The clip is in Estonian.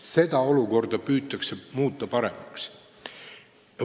Seda olukorda püütakse muuta paremaks.